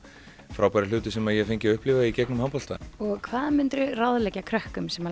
frábæru hluti sem ég hef fengið að upplifa í gegnum handbolta hvað myndir þú ráðleggja krökkum sem